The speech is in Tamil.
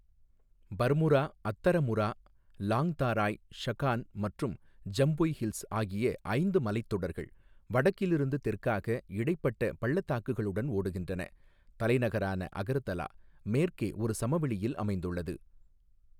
பர்முரா, அத்தரமுரா, லாங்தாராய், ஷகான் மற்றும் ஜம்புய் ஹில்ஸ் ஆகிய ஐந்து மலைத்தொடர்கள் வடக்கிலிருந்து தெற்காக, இடைப்பட்ட பள்ளத்தாக்குகளுடன் ஓடுகின்றன, தலைநகரான அகர்தலா, மேற்கே ஒரு சமவெளியில் அமைந்துள்ளது.